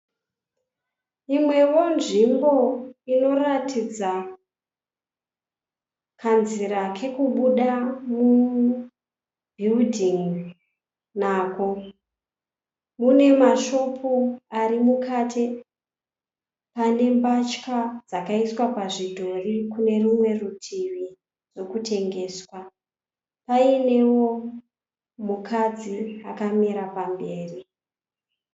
Imwewo nzvimbo inoratidza kanzira kokubuda mubhiridhin'i nako. Mune mashopu ari mukati pane mbatya dzakaiswa pazvidhori kune rumwe rutivi dzekutengesa paine mukadzi akamira pamberi.